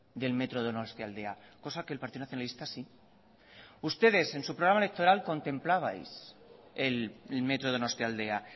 del metro donostialdea cosa que el partido nacionalista sí ustedes en su programa electoral contemplabais el metro donostialdea